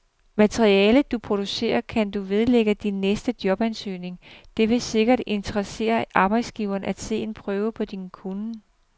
Materialet, du producerer, kan du vedlægge din næste jobansøgning, det vil sikkert interessere arbejdsgiveren at se en prøve på din kunnen.